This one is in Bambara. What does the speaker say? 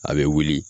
A bɛ wuli